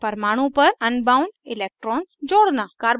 परमाणु पर unbound electrons जोड़ना